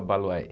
Obaloaiê.